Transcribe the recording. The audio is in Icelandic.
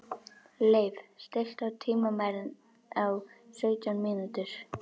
Leif, stilltu tímamælinn á sautján mínútur.